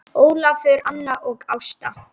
Ólafur, Anna og Ásta.